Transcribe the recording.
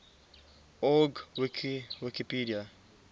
org wiki wikipedia